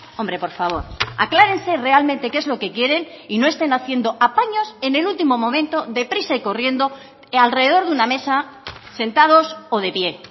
hombre por favor aclárense realmente qué es lo que quieren y no estén haciendo apaños en el último momento deprisa y corriendo alrededor de una mesa sentados o de pie